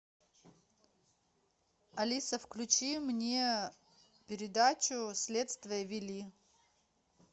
алиса включи мне передачу следствие вели